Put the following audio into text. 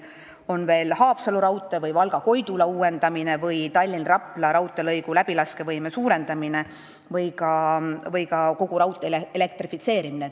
Otsustada tuleb Haapsalu raudtee ja Valga–Koidula lõigu uuendamine, samuti Tallinna–Rapla raudteelõigu läbilaskevõime suurendamine või ka kogu raudtee elektrifitseerimine.